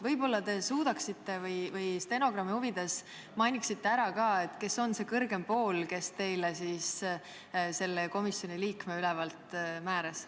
Võib-olla te stenogrammi huvides mainite ära, kes on see kõrgem pool, kes teile siis selle komisjoni liikme ülevalt määras.